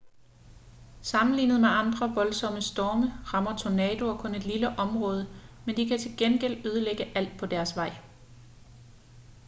sammenlignet med andre voldsomme storme rammer tornadoer kun et lille område men de kan til gengæld ødelægge alt på deres vej